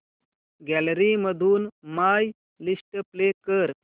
gallery मधून my list play कर